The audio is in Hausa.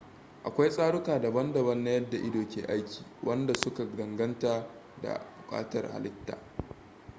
akwai tsaruka daban-daban na yadda ido ke aiki wanda su ka danganta da bukatuwar halitta